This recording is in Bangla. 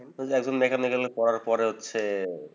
তো দেখেন, এগুলা করার পরে হচ্ছে